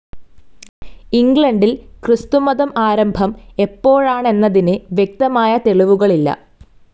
ഇംഗ്ലണ്ടിൽ ക്രിസ്തുമതം ആരംഭം എപ്പോഴാണെന്നതിന് വ്യക്തമായ തെളിവുകളില്ല.